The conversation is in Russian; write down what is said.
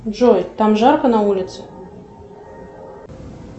джой там жарко на улице